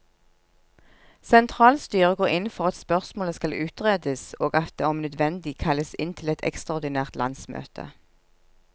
Sentralstyret går inn for at spørsmålet skal utredes, og at det om nødvendig kalles inn til et ekstraordinært landsmøte.